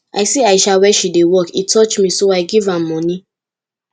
i see aisha where she dey work e touch me so i give am money